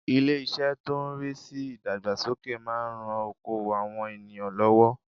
Ilé- isẹ́ tó n rí sí ìdàgbàsókè máa n ran okoòwò àwọn ènìyàn lọ́wọ́